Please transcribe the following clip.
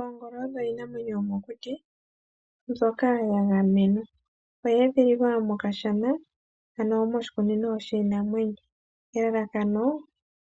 Oongolo odho iinamwenyo yomokuti mbyoka yagamenwa, oyedhililwa mokashana ano moshikunino shiinamwenyo elalakano